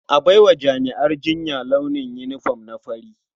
A bar wa jami'an jinya launin yinifom na fari.